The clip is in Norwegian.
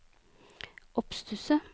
oppstusset